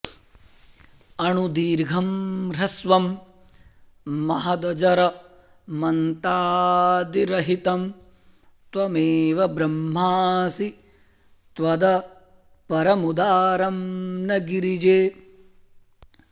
अणुर्दीर्घं ह्रस्वं महदजरमन्तादिरहितं त्वमेव ब्रह्मासि त्वदपरमुदारं न गिरिजे